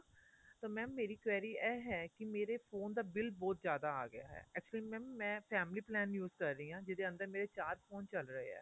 ਤਾਂ mam ਮੇਰੀ query ਇਹ ਹੈ ਕੀ ਮੇਰੇ phone ਦਾ bill ਬਹੁਤ ਜਿਆਦਾ ਆ ਗਿਆ ਹੈ actually mam ਮੈਂ family plan use ਕ਼ਰ ਰਹੀ ਹਾਂ ਜਿhਦੇ ਅੰਦਰ ਮੇਰੇ ਚਾਰ phone ਚੱਲ ਰਹੇ ਆ